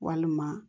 Walima